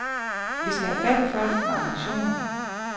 Vi skal have fat i folk med ambitioner.